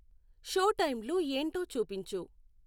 Show టైంలు ఏంటో చూపించు.